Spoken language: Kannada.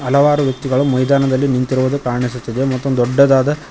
ಹಲವಾರು ವ್ಯಕ್ತಿಗಳು ಮೈದಾನದಲ್ಲಿ ನಿಂತಿರೋದು ಕಾಣಿಸುತ್ತಿದೆ ಮತ್ತು ದೊಡ್ಡದಾದ--